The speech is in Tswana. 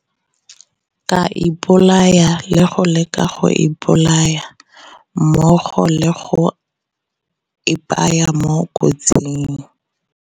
ka ipolaya le go leka go ipolaya, mmogo le go ipaya mo kotsing.